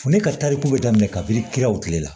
Fo ne ka tariku bɛ daminɛ kabi kiraw kilela